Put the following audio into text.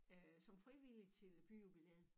Øh som frivillig til byjubilæet